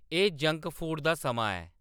एह् junk food दा समां ऐ